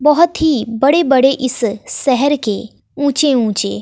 बोहोत ही बड़े बड़े इस शहर के ऊंचे ऊंचे--